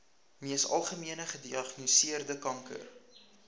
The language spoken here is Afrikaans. mees algemeengediagnoseerde kanker